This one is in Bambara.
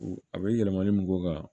A bɛ yɛlɛmali min k'o kan